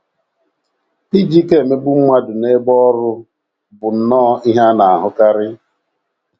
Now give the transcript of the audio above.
Iji ike emegbu mmadụ n’ebe ọrụ bụ nnọọ ihe a na - ahụkarị